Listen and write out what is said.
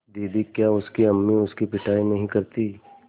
दीदी क्या उसकी अम्मी उसकी पिटाई नहीं करतीं